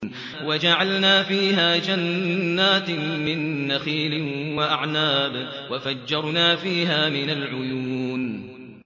وَجَعَلْنَا فِيهَا جَنَّاتٍ مِّن نَّخِيلٍ وَأَعْنَابٍ وَفَجَّرْنَا فِيهَا مِنَ الْعُيُونِ